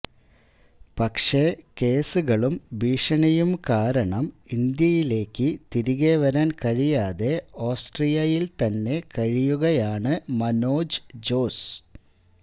പക്ഷെ കേസുകളും ഭീഷണിയും കാരണം ഇന്ത്യയിലേക്ക് തിരികെ വരാൻ കഴിയാതെ ഓസ്ട്രിയയിൽ തന്നെ കഴിയുകയാണ് മനോജ് ജോസ്